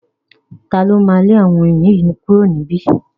Ta ló máa lé àwọn oyin yìí kúrò ní ibí yìí?